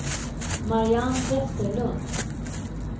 Mariann Vesterlund